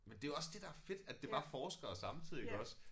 Men det jo også det er fedt at det var forskere samtidig iggås